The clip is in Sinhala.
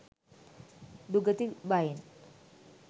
දුගති භයෙන්